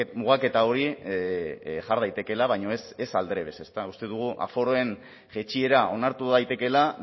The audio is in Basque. mugaketa hori jar daitekeela baina ez aldrebes ezta uste dugu aforoen jaitsiera onartu daitekeela